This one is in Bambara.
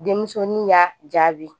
Denmusonin y'a jaabi